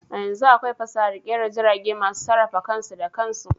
A yanzu akwai fasahar kera jirage masu sarrafa kansu da kansu.